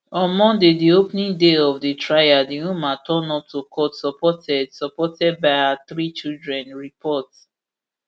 on monday di opening day of di trial di woman turn up to court supported supported by her three children afp report